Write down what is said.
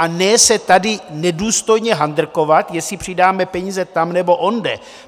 A ne se tady nedůstojně handrkovat, jestli přidáme peníze tam nebo onde.